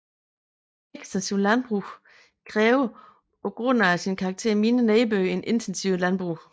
Ekstensivt landbrug kræver på grund af sin karakter mindre nedbør end intensivt landbrug